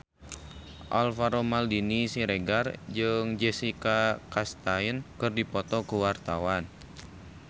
Alvaro Maldini Siregar jeung Jessica Chastain keur dipoto ku wartawan